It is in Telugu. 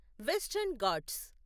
వెస్టర్న్ ఘాట్స్